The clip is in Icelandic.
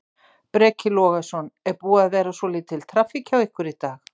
Breki Logason: Er búin að vera svolítil traffík hjá ykkur í dag?